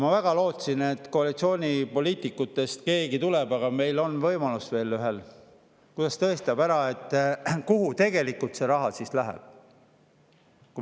Ma väga lootsin, et keegi koalitsioonipoliitikutest tuleb – aga veel on ühel võimalus, las tõestab ära, kuhu tegelikult see raha läheb.